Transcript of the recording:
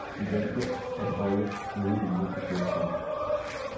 De valgte at holde gode miner til slet spil.